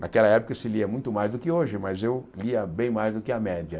Naquela época se lia muito mais do que hoje, mas eu lia bem mais do que a média.